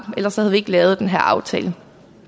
ellers havde vi ikke lavet den her aftale